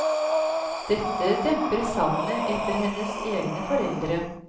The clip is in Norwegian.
Dette demper savnet etter hennes egne foreldre.